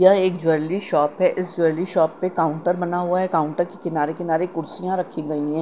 यह एक jewellery shop है इस ज्वेलरी शॉप पे काउंटर बना हुआ है काउंटर के किनारे किनारे कुर्सियां रखी गई हैं।